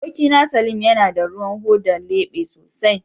Abokina, salim yana da ruwan hoda lebe sosai